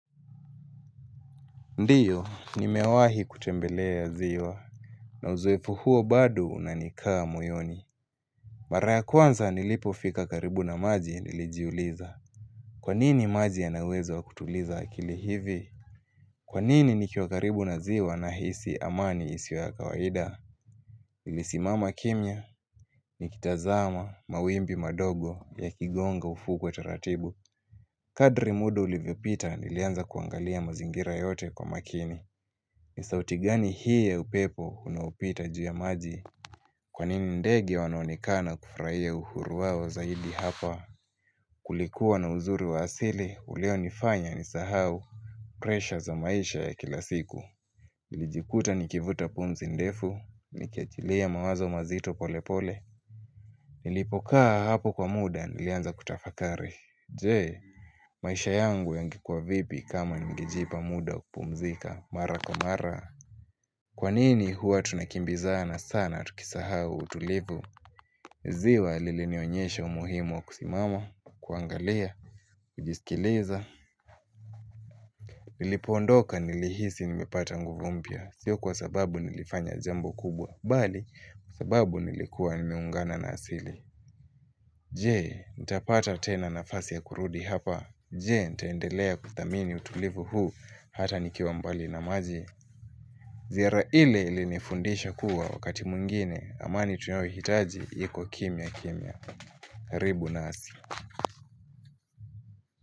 Ndiyo, nimewahi kutembelea ziwa na uzoefu huo bado unanikaa moyoni. Maraya kwanza nilipofika karibu na maji nilijiuliza Kwanini maji ya nawezo wa kutuliza akili hivi? Kwanini nikiwakaribu na ziwa nahisi amani isio ya kawaida? Nilisimama kimya, nikitazama, mawimbi madogo, yakigonga ufuo kwa utaratibu. Kadri muda ulivyopita nilianza kuangalia mazingira yote kwa makini ni sauti gani hii ya upepo unaopita jua maji? Kwa nini ndege wanaonekana kufurahia uhuru wao zaidi hapa? Kulikuwa na uzuri wa asili ulionifanya nisahau ''pressure'' za maisha ya kila siku Nilijikuta nikivuta punmzi ndefu Nikiachilia mawazo mazito pole pole Nilipokaa hapo kwa muda nilianza kutafakari Je, maisha yangu yangekuwa vipi kama ningejipa muda wa kupumzika mara kwa mara Kwanini hua tunakimbizana sana tukisahaa utulivu? Ziwa lilinionyesha umuhimu wa kusimama, kuangalia, kujisikileza Nilipondoka nilihisi nimepata nguvu mpya, sio kwa sababu nilifanya jambo kubwa bali, kwa sababu nilikuwa nimeungana na asili Je, nitapata tena nafasi ya kurudi hapa Je, ntaendelea kuthamini utulivu huu hata nikiwa mbali na maji? Ziara ile ilinifundisha kuwa wakati mwingine amani tunaohitaji iko kimya kimya. Karibu nasi.